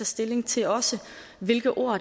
stilling til også hvilke ord